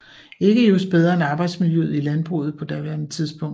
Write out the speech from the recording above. Ikke just bedre end arbejdsmiljøet i landbruget på daværende tidspunkt